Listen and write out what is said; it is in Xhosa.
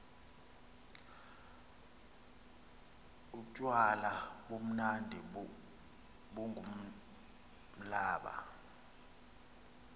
utywala bumnandi bungumblaba